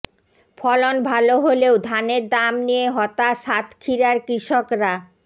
ফলন ভালো হলেও ধানের দাম নিয়ে হতাশ সাতক্ষীরার কৃষকরা